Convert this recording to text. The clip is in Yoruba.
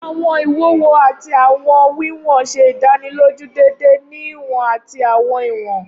Awọn iwuwo ati awọn wiwọn ṣe idaniloju deede ni iwọn ati awọn iwọn.